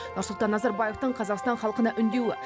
нұрсұлтан назарбаевтың қазақстан халқына үндеуі